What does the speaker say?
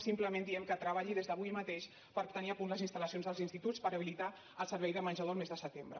simplement diem que treballi des d’avui mateix per tenir a punt les instal·lacions dels instituts per habilitar el servei de menjador el mes de setembre